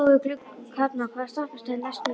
Kalman, hvaða stoppistöð er næst mér?